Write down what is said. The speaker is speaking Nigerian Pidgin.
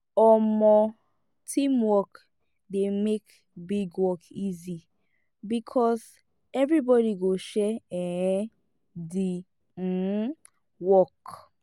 um teamwork dey make big work easy because everybody go share um di um work